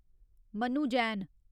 Manu Jain